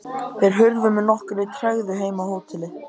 Þeir hurfu með nokkurri tregðu heim á hótelið.